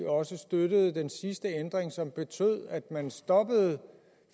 også støttede den sidste ændring som betød at man stoppede